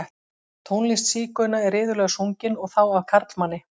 Tónlist sígauna er iðulega sungin, og þá af karlmanni.